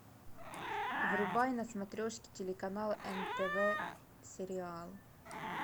врубай на смотрешке телеканал нтв сериал